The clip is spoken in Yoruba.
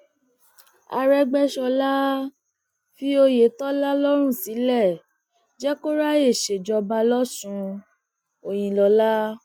arẹgbẹsọla fi oyetola lọrùn sílẹ jẹ kó ráàyè ṣèjọba lọsùn òyìnlọla